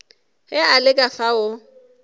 ge a le ka fao